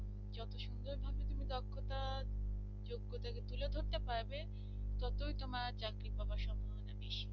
করতে পারবে যতই তোমার চাকরি পাবার সম্ভাবনা বেশি